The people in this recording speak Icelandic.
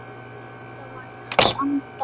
Það væri í hans anda.